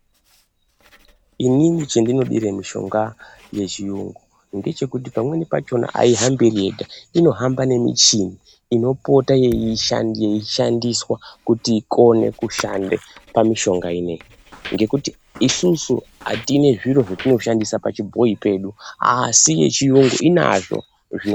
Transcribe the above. Inini chendinodire mishonga yechiyungu, ndechekuti pamweni pachona aihambi iri yega, inohamba nemichini inopota yeishandiswa kuti ikone kushande pamishonga inoyi, ngekuti isusu atinezviro zvetinoshandisa pachibhoi pedu asi yechiyungu inazvo.